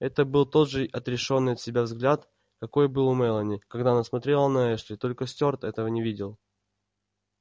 это был тот же отрешённый от себя взгляд какой был у мелани когда она смотрела на эшли только стюарт этого не видел